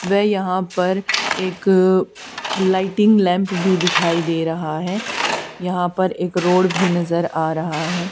व यहां पर एक लाइटिंग लैंप भी दिखाई दे रहा है यहां पर एक रोड भी नजर आ रहा है।